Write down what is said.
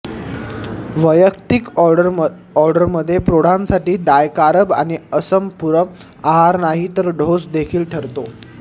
वैयक्तिक ऑर्डरमध्ये प्रौढांसाठी डायकारब आणि असपुरम आहार नाही तर डोस देखील ठरतो